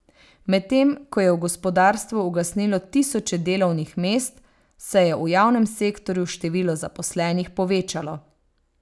Medtem ko je v gospodarstvu ugasnilo tisoče delovnih mest, se je v javnem sektorju število zaposlenih povečalo.